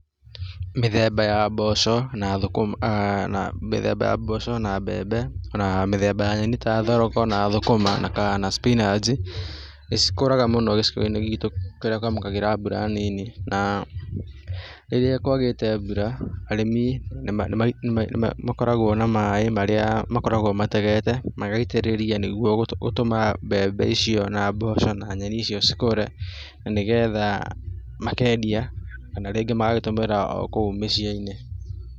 Mĩthemba ya mboco na thũkũma aaa mĩthemba ya mboco na mbembe na mĩthemba ya nyeni ta thoroko na thũkũma na spinaji, nĩcikũraga mũno gĩcigoinĩ gitũ kĩrĩa kĩamũkagĩra mbura nini naa rĩrĩa kwagĩte mbura arĩmi nĩma nĩma nĩmakoragwo na maĩ marĩa makoragwo mategete, magaitĩrĩrĩa nĩ nĩguo gũtũma mbembe icio na mboco na nyeni ikũre, na nĩgetha makendia kana rĩngĩ magagĩtũmĩra okũu mĩciĩ-inĩ.